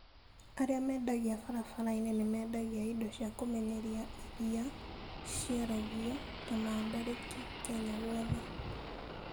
Arĩa mendagia barabara-inĩ nĩ mendagia indo cia kũmenyeria iria ciaragio, ta mandarĩki, Kenya guothe.